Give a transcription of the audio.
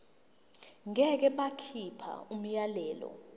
ngeke bakhipha umyalelo